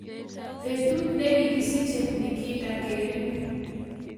Betut nekigisiche Nikita Kering